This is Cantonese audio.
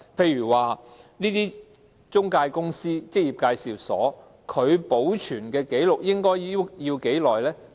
例如中介公司、職業介紹所要保存相關紀錄多久呢？